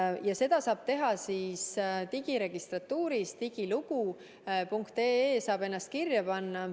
digiregistratuuris, portaalis digilugu.ee saab ennast kirja panna.